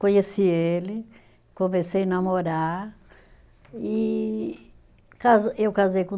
Conheci ele, comecei namorar e casa, eu casei com